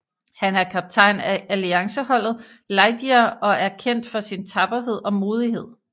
Han er kaptajn af Alliance Holdet Lightyear og er kendt for sin tapperhed og modighed